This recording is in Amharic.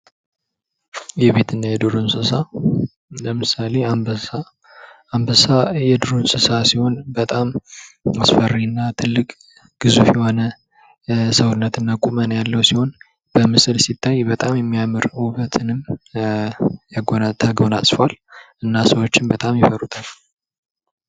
የቤት እና የዱር እንስሳት ለምሳሌ ፦ አንበሳ ፦ አንበሳ የዱር እንስሳ ሲሆን በጣም አስፈሪና ትልቅ ፣ ግዙፍ የሆነ ሰውነት እና ቁመና ያለው ሲሆን በምስል ሲታይ በጣም የሚያምር ውበትንም ተጎናጽፏል እና ሰዎችን በጣም ይፈሩታል ።